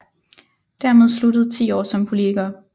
Dermed sluttede 10 år som politiker